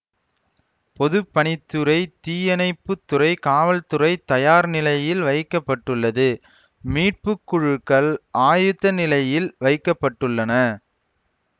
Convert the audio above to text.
பொது பணி துறை தீயணைப்புத்துறை காவல்துறை தயார் நிலையில் வைக்க பட்டுள்ளது மீட்பு குழுக்கள் ஆயத்த நிலையில் வைக்க பட்டுள்ளன